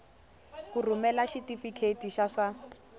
ku rhumela xitifiketi xa swa